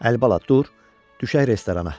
Əlibala dur, düşək restorana.